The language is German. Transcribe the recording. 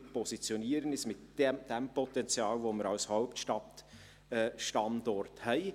Wir positionieren uns mit jenem Potenzial, das wir als Hauptstadtstandort haben.